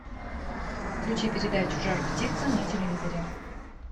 включи передачу жар птица на телевизоре